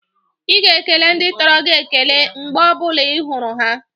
Ị ga-ekele ndị̣ toro gi ekele mgbe ọ bụ̣la ị hụrụ ha!